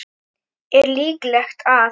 Er líklegt að